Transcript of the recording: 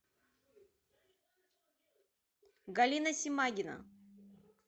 галина семагина